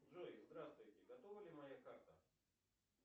джой здравствуйте готова ли моя карта